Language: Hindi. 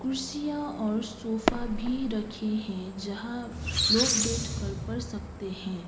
कुर्सियां और सोफा भी रखें हैं जहां लोग बैठकर पढ़ सकते हैं।